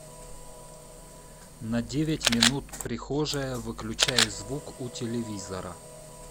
на девять минут прихожая выключай звук у телевизора